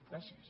gràcies